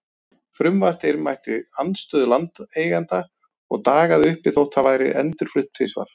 Frumvarpið mætti andstöðu landeigenda og dagaði uppi þótt það væri endurflutt tvisvar.